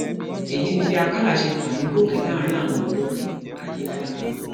èyí ni bí àkàlà ṣe fà mí gòkè láàrin àwọn olórin ayéfẹlẹ